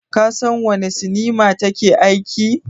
Ka san a wanne sinima ta ke aiki?